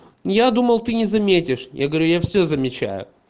я думал ты не заметишь я говорю я все замечаю